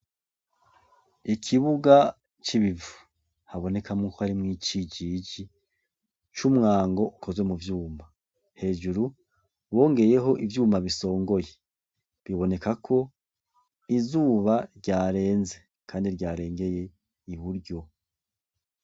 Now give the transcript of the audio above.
Ikibuga c'ibivu habonekamwo ko harimwo icijiji c'umwango ukoze mu vyuma. Hejuru bongeyeho ivyuma bisongoye, biboneka ko izuba ryarenze kandi ryarengeye iburyo.